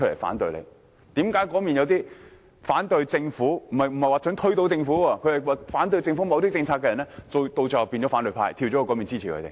為何有些反對政府——我並非指推倒政府——某些政策的人最終加入反對派，支持坐在另一邊的議員？